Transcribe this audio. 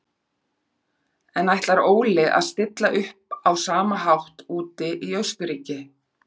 En ætlar Óli að stilla upp á sama hátt úti í Austurríki?